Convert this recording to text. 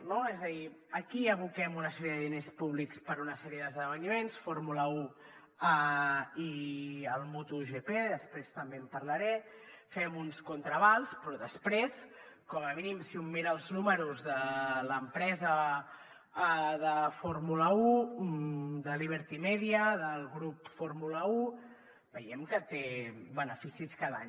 no és a dir aquí hi aboquem una sèrie de diners públics per a una sèrie d’esdeveniments fórmula un i motogp després també en parlaré fem uns contraavals però després com a mínim si un mira els números de l’empresa de fórmula un de liberty media del grup fórmula un veiem que té beneficis cada any